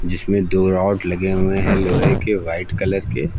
जिसमें दो रॉड लगे हुए हैं लोहे के व्हाइट कलर के।